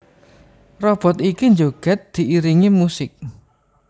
Robot iki njogèd diiringi musik